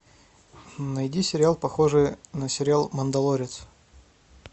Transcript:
найди сериал похожий на сериал мандалорец